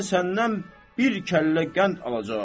Mən səndən bir kəllə qənd alacağam.